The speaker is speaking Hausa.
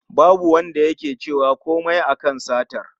Babu Wanda yake cewa komai a kan satar